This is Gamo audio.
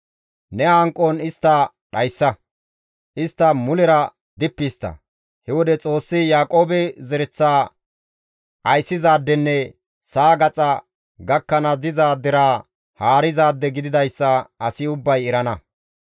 Ne hanqon istta dhayssa; istta mulera dippi histta; he wode Xoossi Yaaqoobe zereththa ayssizaadenne sa7a gaxa gakkanaas diza deraa haarizaade gididayssa asi ubbay erana.